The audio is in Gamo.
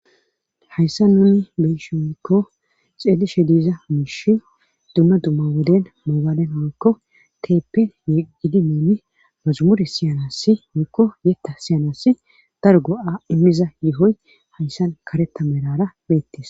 Hayssa nuni beshi oykko xeedishe diza miishi duuna dumma woden moobalen meekko teeppe ye gidi muuni masumuri siyanassi moekko yetta siyanas dar go'a immiza yohoy hayssan karetamerara beettis.